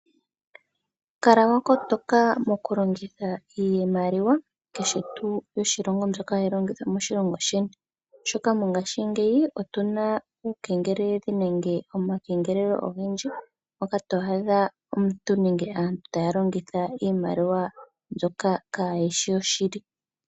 Kala wa kotoka mokulongitha iimaliwa ngaashi tuu mbyoka hayi longithwa moshilongo sheni, oshoka mongashingeyi otuna omakengelelo ogendji mpoka to adha aantu taa longitha iimaliwa mbyoka kaa yishi yoshili.